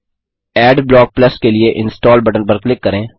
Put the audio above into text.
Adblock Plus के लिए install button पर क्लिक करें